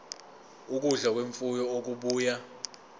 ukudla kwemfuyo okubuya